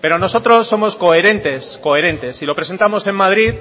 pero nosotros somos coherentes coherentes y lo presentamos en madrid